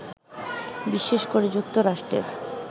বিশেষ করে যুক্তরাষ্ট্রের